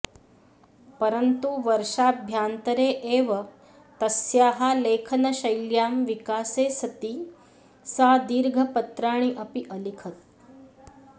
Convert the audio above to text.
परन्तु वर्षाभ्यान्तरे एव तस्याः लेखनशैल्यां विकासे सति सा दीर्घपत्राणि अपि अलिखत्